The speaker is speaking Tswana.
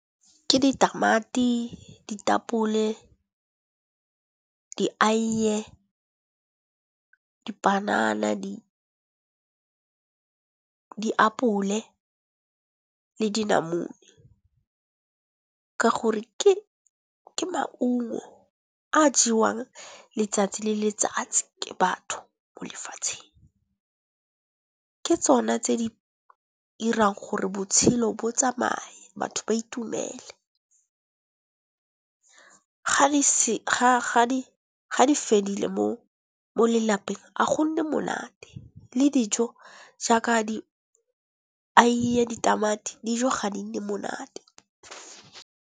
Ke ditamati, ditapole, dieiye, dipanana diapole le dinamune. Ka gore ke maungo a jewang letsatsi le letsatsi ke batho mo lefatsheng. Ke tsone tse di irang gore botshelo bo tsamaye, batho ba itumele. Ga di fedile mo lelapeng a gonne monate le dijo jaaka di eiye, ditamati dijo ga di nne monate.